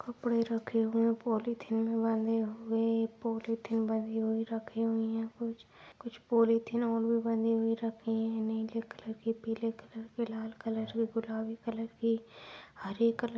कपड़े रखे हुए पॉलिथीन वाले हुए पॉलिथीन बंधी हुई रखी हुई है कुछ कुछ पॉलीथिन और भी बंधी हुई रखे है नीले कलर की पीले कलर के लाल कलर गुलाबी कलर की हरे कलर ---